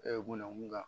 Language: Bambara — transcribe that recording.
namu la